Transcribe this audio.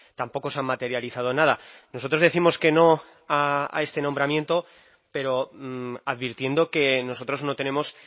tampoco se han materializado nada nosotros décimos que no a este nombramiento pero advirtiendo que nosotros no tenemos